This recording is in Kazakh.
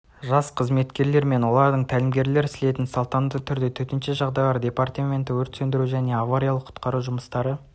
жас қызметкерлер мен олардың тәлімгерлер слетін салтанатты түрде төтенше жағдайлар департаменті өрт сөндіру және авариялық-құтқару жұмыстары